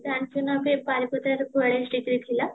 ଜାଣିଛୁନାବେ ବାରିପଦାର ବୟାଲିଶ degree ଥିଲା